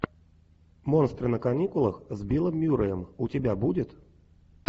монстры на каникулах с биллом мюрреем у тебя будет